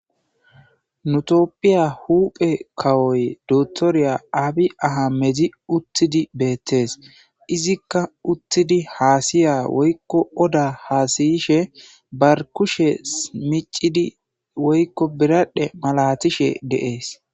Nutopphiya huuphe kawoy dotoriya aabi aha mezi uttidi beettees izikka uttidi haasiya woykko oda haasayishe barkushe smicidi woykko biradhe malatishe deees.